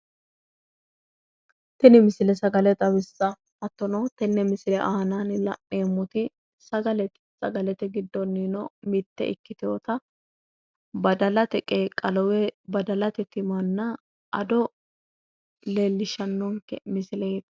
Tini misile sagale xawissa. Hattono tenne misile aanaanni la'neemmoti sagalete. Sagalete giddoniino mitte ikkiteyota badalate qeeqqalo woyi badalate timanna ado leellishshannonke misileeti.